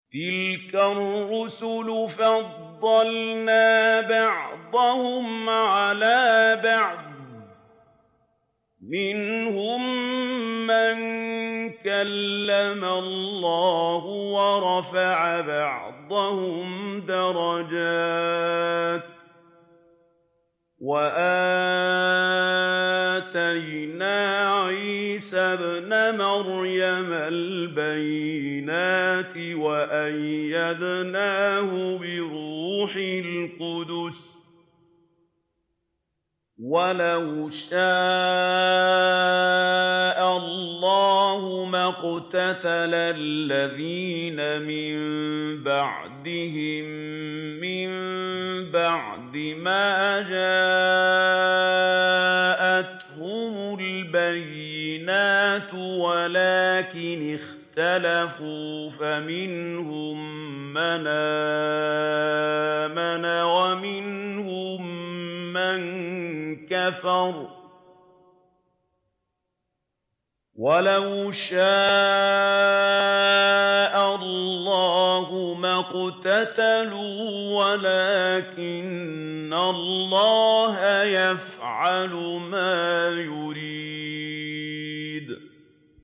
۞ تِلْكَ الرُّسُلُ فَضَّلْنَا بَعْضَهُمْ عَلَىٰ بَعْضٍ ۘ مِّنْهُم مَّن كَلَّمَ اللَّهُ ۖ وَرَفَعَ بَعْضَهُمْ دَرَجَاتٍ ۚ وَآتَيْنَا عِيسَى ابْنَ مَرْيَمَ الْبَيِّنَاتِ وَأَيَّدْنَاهُ بِرُوحِ الْقُدُسِ ۗ وَلَوْ شَاءَ اللَّهُ مَا اقْتَتَلَ الَّذِينَ مِن بَعْدِهِم مِّن بَعْدِ مَا جَاءَتْهُمُ الْبَيِّنَاتُ وَلَٰكِنِ اخْتَلَفُوا فَمِنْهُم مَّنْ آمَنَ وَمِنْهُم مَّن كَفَرَ ۚ وَلَوْ شَاءَ اللَّهُ مَا اقْتَتَلُوا وَلَٰكِنَّ اللَّهَ يَفْعَلُ مَا يُرِيدُ